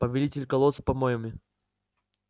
повелитель колод с помоями